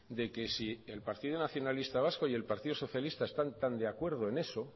de que si el partido nacionalista vasco y el partido socialista están tan de acuerdo en eso